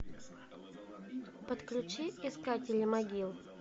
подключи искатели могил